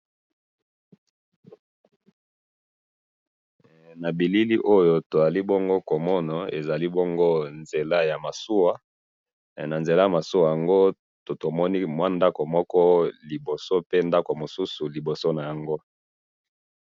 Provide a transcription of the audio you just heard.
he na bilili oyo tozali bongo komona ezali bongo nzela ya masuwa he na nzela ya masuwa yango tomoni mwa ndaku moko liboso pe na liboso na yango ndaku mosusu.